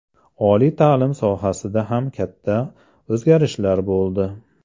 Oliy ta’lim sohasida ham katta o‘zgarishlar bo‘ldi.